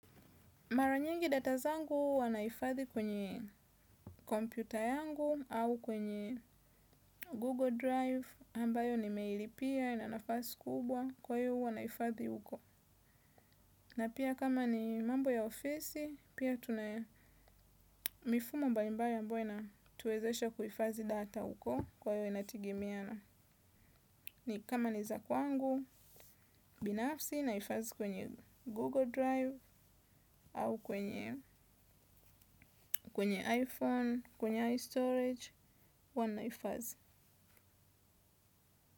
Mara nyingi data zangu huwa naifadhi kwenye kompyuta yangu au kwenye Google Drive, ambayo nimeilipia, ina nafasi kubwa, kwayo huwa naifadhi uko. Na pia kama ni mambo ya ofisi, pia tuna mifumo mbalimbali ambayo ina tuwezesha kuifazi data uko kwayo inatigimiana. Ni kama ni za kwangu, binafsi naifazi kwenye Google Drive au kwenye iPhone, kwenye iStorage, huwa naifazi.